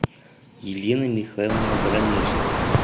елена михайловна воронежская